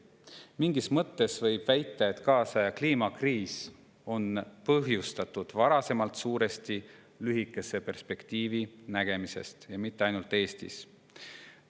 Mingis mõttes võib väita, et kaasaja kliimakriis on põhjustatud sellest, et varasemalt nähti suuresti lühikest perspektiivi, ja mitte ainult Eestis.